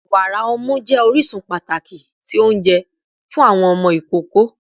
Wara ọmu jẹ orisun pataki ti ounjẹ fun awọn ọmọ ikoko